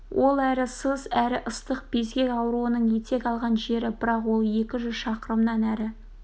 ол әрі сыз әрі ыстық безгек ауруының етек алған жері бірақ ол екі жүз шақырымнан әрі